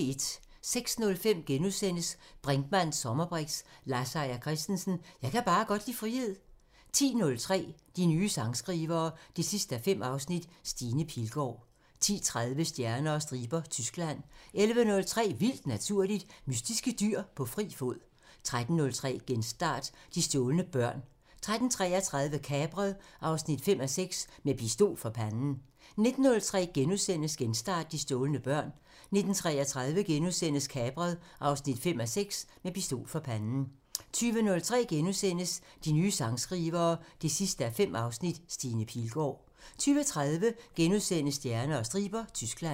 06:05: Brinkmanns sommerbriks: Lars Seier Christensen – Jeg kan bare godt lide frihed * 10:03: De nye sangskrivere 5:5 – Stine Pilgaard 10:30: Stjerner og striber – Tyskland 11:03: Vildt Naturligt: Mystiske dyr på fri fod 13:03: Genstart: De stjålne børn 13:33: Kapret 5:6 – Med pistol for panden 19:03: Genstart: De stjålne børn * 19:33: Kapret 5:6 – Med pistol for panden * 20:03: De nye sangskrivere 5:5 – Stine Pilgaard * 20:30: Stjerner og striber – Tyskland *